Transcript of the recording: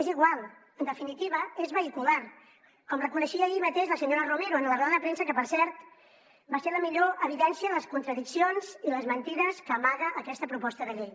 és igual en definitiva és vehicular com reconeixia ahir mateix la senyora romero en la roda de premsa que per cert va ser la millor evidència de les contradiccions i les mentides que amaga aquesta proposta de llei